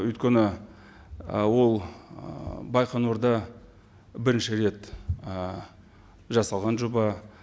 өйткені ол байқоңырда бірінші рет жасалған жоба